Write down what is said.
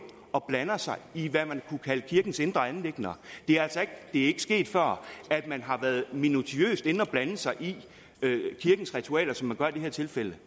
og blander sig i hvad man kunne kalde kirkens indre anliggender det er ikke sket før at man har været minutiøst inde og blande sig i kirkens ritualer som man gør i det her tilfælde